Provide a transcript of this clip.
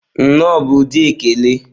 Nnọọ bụ ụdị ekele.